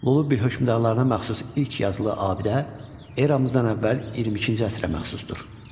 Lullubi hökmdarlarına məxsus ilk yazılı abidə Eradan əvvəl 22-ci əsrə məxsusdur.